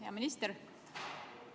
Hea minister!